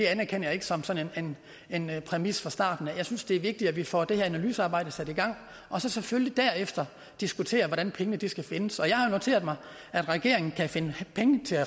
anerkender jeg ikke som en en præmis fra starten jeg synes det er vigtigt at vi får det her analysearbejde sat i gang og så selvfølgelig derefter diskuterer hvordan pengene skal findes jeg har noteret mig at regeringen kan finde penge til